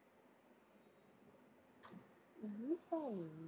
த~